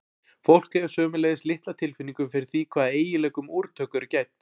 fólk hefur sömuleiðis litla tilfinningu fyrir því hvaða eiginleikum úrtök eru gædd